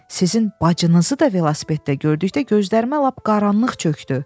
Sizin bacınızı da velosipeddə gördükdə gözlərimə lap qaranlıq çökdü.